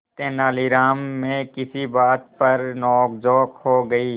तेनालीराम में किसी बात पर नोकझोंक हो गई